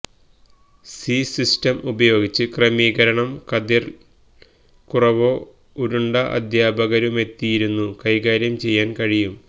C system ഉപയോഗിച്ച് ക്രമീകരണം കതിർ ൽ കുറവോ ഉരുണ്ട അധ്യാപകരുമെത്തിയിരുന്നു കൈകാര്യം ചെയ്യാൻ കഴിയും